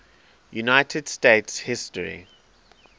united states history